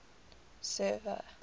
server